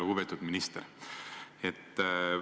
Lugupeetud minister!